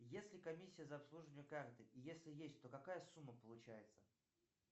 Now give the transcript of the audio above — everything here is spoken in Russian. есть ли комиссия за обслуживание карты и если есть то какая сумма получается